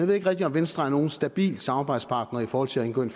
ved ikke rigtig om venstre er nogen stabil samarbejdspartner i forhold til at indgå en